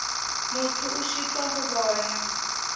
motho a šitwa go bona